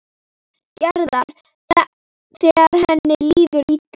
Gerðar þegar henni líður illa.